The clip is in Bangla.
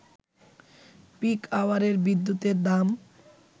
পিক আওয়ারের বিদ্যুতের দাম